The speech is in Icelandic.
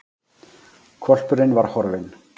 Hvolpurinn var horfinn!